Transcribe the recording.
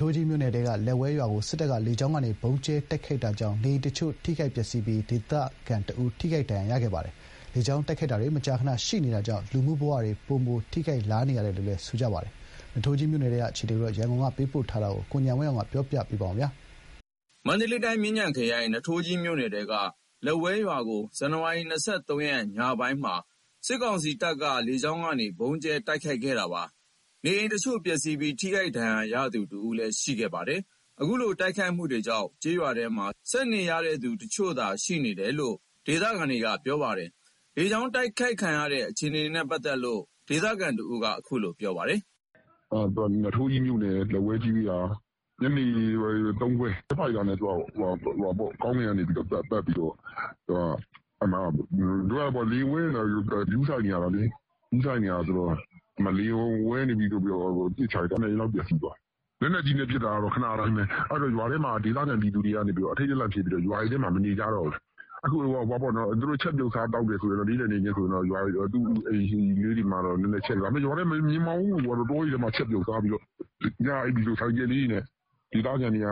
ထိုးကြီးမြို့နယ်ထဲက လက်ဝဲရွာကို စစ်တပ်က လေကြောင်းကနေ ဗုံးကြဲတိုက်ခိုက်တာကြောင့် နေအိမ်တချို့ ထိခိုက် ပျက်စီးခဲ့ပြီး ဒေသခံတဦး ထိခိုက်ဒဏ်ရာ ရခဲ့ပါတယ်။ လေကြောင်း တိုက်ခိုက်တာတွေ မကြာခဏ ရှိနေတာကြောင့် လူမှုဘ၀တွေ ပိုမို ထိခိုက်လာနေရတယ်လို့လည်း ဒေသခံတွေက ပြောပါတယ်။ နွားထိုးကြီးမြို့နယ်ထဲက အခြေအနေ ရန်ကုန်က ပေးပို့လာတာကို ပြောပြပေးမှာပါ။ မန္တလေးတိုင်း မြင်းခြံခရိုင် နွားထိုးကြီးမြို့နယ်ထဲက လက်ဝဲရွာကို ဇန်နဝါရီ ၂၃ ရက် ညနေပိုင်းမှာ စစ်တပ်က လေကြောင်းကနေ ဗုံးကြဲတိုက်ခိုက်ခဲ့တာပါ။ နေအိမ်တချို့ ပျက်စီးပြီး ထိခိုက် ဒဏ်ရာရသူ တဦးလည်း ရှိခဲ့ပါတယ်။ အခုလို တိုက်ခိုက်မှုတွေကြောင့် ကျေးရွာထဲမှာ ဆက်နေရတဲ့သူ တချို့သာ ရှိတယ်လို့လည်း ဒေသခံတွေက ပြောပါတယ်။ လေကြောင်း တိုက်ခိုက်ခံရတဲ့ အခြေအနေနဲ့ ပတ်သက်လို့ ဒေသခံ တဦးက အခုလို ပြောပါတယ်။ "နွားထိုးကြီးမြို့နယ် လက်ဝဲကျေးရွာ ညနေ ၃ ခွဲ ဂျက်ဖိုက်တာနဲ့ ကောင်းကင်ကနေ ပတ်ပြီးတော့ လေယာဉ်ဝဲနေရင် ဂရုစိုက်နေရတာလေ။ လေယာဉ်ဝဲနေပြီဆိုပြီးတော့ ပစ်ချလိုက်တာ ၇ အိမ်လောက် ပျက်စီးသွားတယ်။ လက်နက်ကြီးနဲ့ ပစ်တာက ခဏတိုင်းပဲ။ အဲ့ဒီတော့ ရွာထဲက ဒေသခံပြည်သူတွေက အထိတ်တလန့်ဖြစ်ပြီးတော့ ရွာတွေထဲ မနေကြတော့ဘူး။ ချက်ပြုတ်မယ်ဆို နေ့လည် နေ့ခင်း ရွာထဲတော့နေတယ်။ ရွာထဲလည်း သိပ်မနေပါဘူး။ တောတွေထဲ ချက်ပြုတ်စားသောက်ပြီး ညဘက်ဆို ဆိုင်ကယ်လေးတွေနဲ့ ဒေသခံတွေက